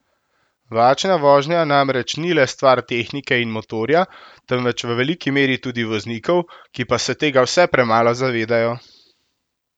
Varčna vožnja namreč ni le stvar tehnike in motorja, temveč v veliki meri tudi voznikov, ki pa se tega vse premalo zavedajo.